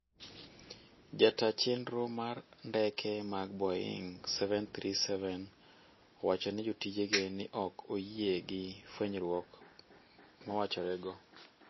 Jataa chenro mar ndeke mag Boeing' 737, owachone jotijege ni ok oyie gi fwenyruor mawachorego.